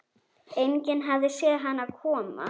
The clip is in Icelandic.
Enginn hafði séð hann koma.